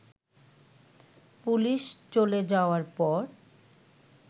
police চলে যাওয়ার পর